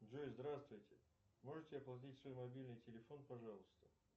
джой здравствуйте можете оплатить свой мобильный телефон пожалуйста